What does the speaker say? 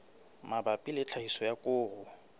mabapi le tlhahiso ya koro